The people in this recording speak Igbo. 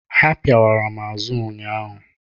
Ha pịawara m azụ ụnyaahụ.